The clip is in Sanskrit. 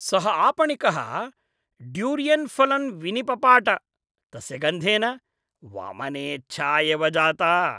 सः आपणिकः ड्यूरियन् फलम् विनिपपाट, तस्य गन्धेन वमनेच्छा एव जाता।